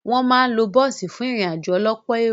Wọ́n máa ń lo bọ́ọ̀sì fún ìrìn-àjò ọlọ́pọ̀ èrò.